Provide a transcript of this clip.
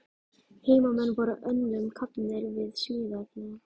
Heimamenn voru önnum kafnir við smíðarnar.